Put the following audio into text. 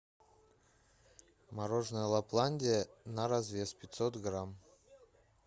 мороженое лапландия на развес пятьсот грамм